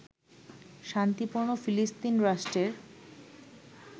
শান্তিপূর্ণ ফিলিস্তিন রাষ্ট্রের